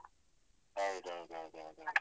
ಹೌದೌದು ಹೌದೌದು ಹೌದು.